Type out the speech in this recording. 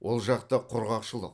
ол жақта құрғақшылық